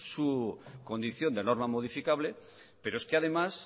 su condición de norma modificable pero es que además